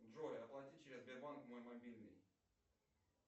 джой оплати через сбербанк мой мобильный